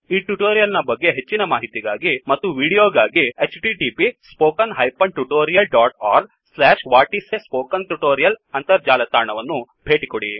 ಈ ಟ್ಯುಟೋರಿಯಲ್ ನ ಬಗ್ಗೆ ಹೆಚ್ಚಿನ ಮಾಹಿತಿಗಾಗಿ ಮತ್ತು ದೃಶ್ಯಾವಳಿಗಳಿಗಾಗಿ 1 ಅಂತರ್ಜಾಲ ತಾಣವನ್ನು ಭೇಟಿಕೊಡಿ